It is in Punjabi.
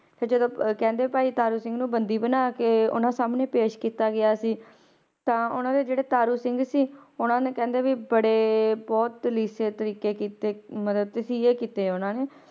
ਫਿਰ ਜਦੋਂ ਅਹ ਕਹਿੰਦੇ ਭਾਈ ਤਾਰੂ ਸਿੰਘ ਨੂੰ ਬੰਦੀ ਬਣਾ ਕੇ ਉਹਨਾਂ ਸਾਹਮਣੇ ਪੇਸ਼ ਕੀਤਾ ਗਿਆ ਸੀ, ਤਾਂ ਉਹਨਾਂ ਦੇ ਜਿਹੜੇ ਤਾਰੂ ਸਿੰਘ ਸੀ ਉਹਨਾਂ ਨੇ ਕਹਿੰਦੇ ਵੀ ਬੜੇ ਬਹੁਤ ਤਰੀਕੇ ਕੀਤੇ ਮਤਲਬ ਤਸੀਹੇ ਕੀਤੇ ਉਹਨਾਂ ਨੇ,